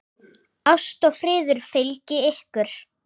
Ást og friður fylgi ykkur.